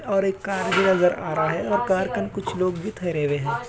और एक कार भी नज़र अ रहा है और कार के अंदर कुछ लोग भी थरे हुए हैं।